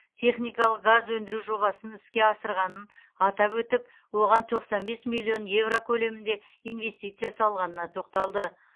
техникалық газ өндіру жобасын іске асырғанын атап өтіп оған тоқсан бес миллион еуро көлемінде инвестиция салғанына тоқталды